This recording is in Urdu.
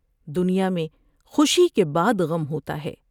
دنیا میں خوشی کے بعد غم ہوتا ہے ۔